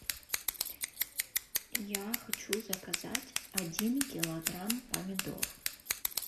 я хочу заказать один килограмм помидор